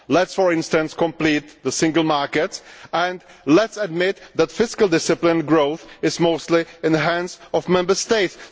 Let us, for instance, complete the single market and let us admit that fiscal discipline growth is mostly in the hands of Member States.